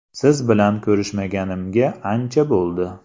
Siz bilan ko‘rishmaganimga ancha bo‘ldi.